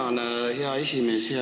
Tänan, hea esimees!